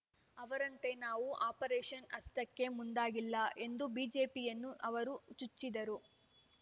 ಅವರಂತೆ ನಾವು ಆಪರೇಶನ್ ಹಸ್ತಕ್ಕೆ ಮುಂದಾಗಿಲ್ಲ ಎಂದು ಬಿಜೆಪಿಯನ್ನು ಅವರು ಚುಚ್ಚಿದರು